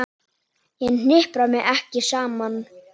Ég hnipra mig ekki saman.